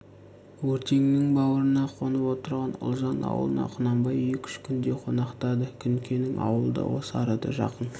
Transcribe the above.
өртеңнің баурына қонып отырған ұлжан аулына құнанбай екі-үш күндей қонақтады күнкенің аулы да осы арада жақын